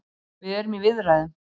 Við erum í viðræðum.